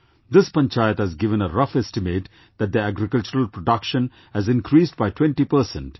This panchayat has given a rough estimate that their agricultural production has increased by 20 per cent